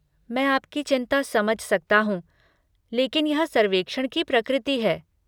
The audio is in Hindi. मैं आपकी चिंता समझ सकता हूँ, लेकिन यह सर्वेक्षण की प्रकृति है।